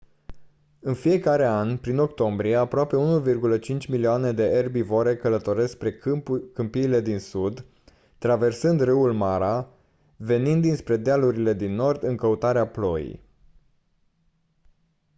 în fiecare an prin octombrie aproape 1,5 milioane de erbivore călătoresc spre câmpiile din sud traversând râul mara venind dinspre dealurile din nord în căutarea ploii